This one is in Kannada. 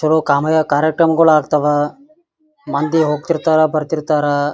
ತೆಳು ಕಮಯ ಕಾರ್ಯಕ್ರಮಗಳು ಆಗ್ತಾವ ಮಂದಿ ಹೋಗ್ತಿರ್ತರ ಬರ್ತಿರ್ತಾರ.